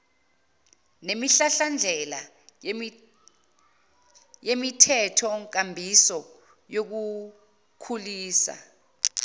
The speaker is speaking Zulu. nemihlahlandela yemithethonkambiso yokukhulisa